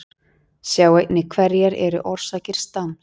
Sjá einnig Hverjar eru orsakir stams?